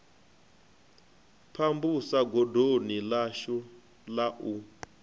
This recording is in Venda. pambusa godoni ḽashu la u